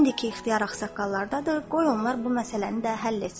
İndi ki, ixtiyar ağsaqqallardadır, qoy onlar bu məsələni də həll etsinlər.